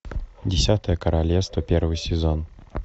десятое королевство первый сезон